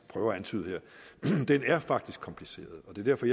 prøver at antyde her faktisk kompliceret derfor